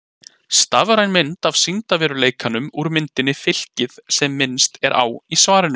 Stafræn mynd af sýndarveruleikanum úr myndinni Fylkið sem minnst er á í svarinu.